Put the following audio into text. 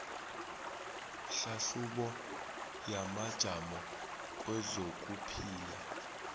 hlahlubo yamajamo kwezokuphila